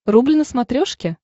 рубль на смотрешке